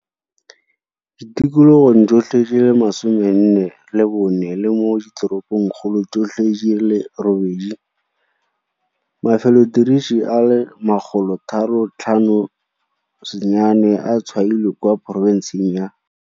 Ditikologong tsotlhe di le 44 le mo diteropokgolong tsotlhe di le robedi. Mafelotiriso a le 358 a tshwailwe kwa porofenseng ya